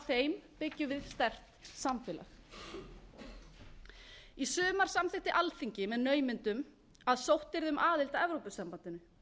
þeim byggjum við sterkt samfélag í sumar samþykkti alþingi með naumindum að sótt yrði um aðild að evrópusambandinu